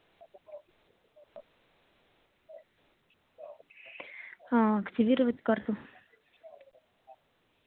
аа активировать карту